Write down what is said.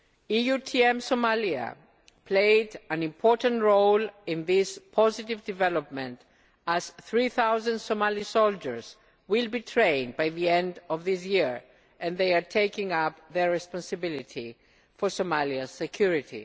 EUTM Somalia played an important role in this positive development as 3000 Somali soldiers will be trained by the end of this year and they are taking up their responsibility for Somalia's security.